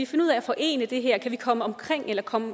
finde ud af at forene det her og kan komme omkring eller komme